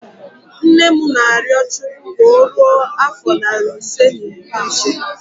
Nne m na-arịọ Chukwu ka o ruo afọ narị ise na iri ise